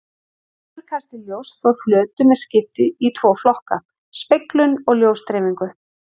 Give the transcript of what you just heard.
Endurkasti ljóss frá flötum er skipt í tvo flokka: speglun og ljósdreifingu.